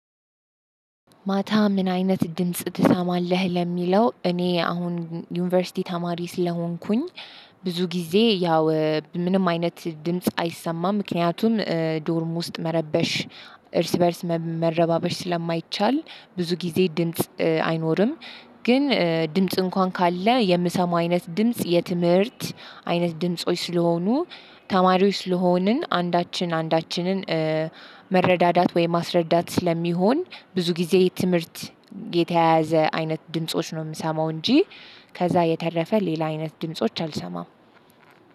ማታ? ምን አይነት ድምጽ ትሰማለህ ለሚለው እኔ አሁን ዩኒቨርሲቲ ተማሪ ስለሆንኩኝ። ብዙ ጊዜ ያው ምንም አይነት ድምጽ አይሰማም ምክንያቱም ዶርም ውስጥ መረበሽ እርስ በእርስ መረባበሽ ስለማይቻል ብዙ ጊዜ ድምጽ አይኖርም። ግን ድምጽ እንኳን ካለ የምሰማው አይነት ድምጽ የትምህርት አይነት ድምጾች ስለሆኑ ተማሪዎች ስለሆንን አንዳችን አንዳችንን መረዳዳት ወይም ማስረዳት ስለሚሆን ብዙ ጊዜ የትምህርት የተያያዘ አይነት ድምጾች ነው የምሰማው። እንጂ ከዛ የተረፈ ሌላ አይነት ድምጾች። አልሰማም